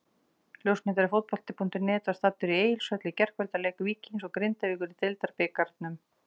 Ljósmyndari Fótbolti.net var staddur í Egilshöll í gærkvöldi á leik Víkings og Grindavíkur í Deildabikarnum.